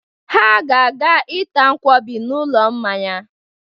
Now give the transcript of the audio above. Ha ga-aga ịta nkwọbi n'ụlọ mmanya.